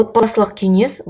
отбасылық кеңес